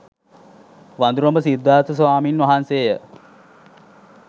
වඳුරඹ සිද්ධාර්ථ ස්වාමීන් වහන්සේ ය.